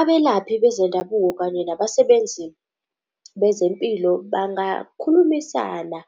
Abelaphi bezendabuko kanye nabasebenzi bezempilo bangakhulumisana,